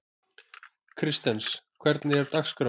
Kristens, hvernig er dagskráin?